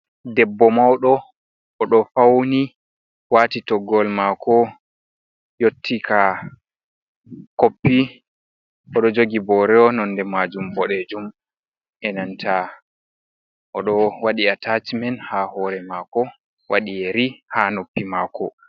Debbo mauɗo oɗo fauni, waati toggowol maako yotti ka koppi, oɗo jogi booro nonde majum boɗeejum, enanta oɗo waɗi ataacimen ha hoore maako wadi yeri haa noppi maako.